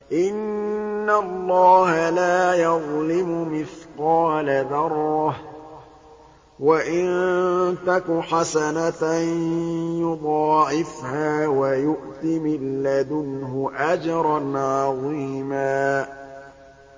إِنَّ اللَّهَ لَا يَظْلِمُ مِثْقَالَ ذَرَّةٍ ۖ وَإِن تَكُ حَسَنَةً يُضَاعِفْهَا وَيُؤْتِ مِن لَّدُنْهُ أَجْرًا عَظِيمًا